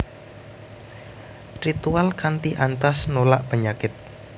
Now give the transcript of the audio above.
Ritual kanthi ancas nolak penyakit